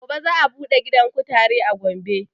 Gobe za a buɗe gidan kutare a gombe